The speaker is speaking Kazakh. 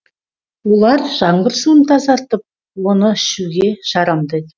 олар жаңбыр суын тазартып оны ішуге жарамды